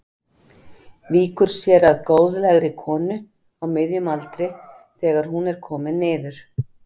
Víkur sér að góðlegri konu á miðjum aldri þegar hún er komin niður.